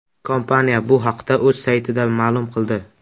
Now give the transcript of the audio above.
Kompaniya bu haqda o‘z saytida ma’lum qildi.